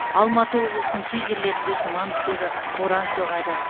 алматы облысының кей жерлерде тұман түседі боран соғады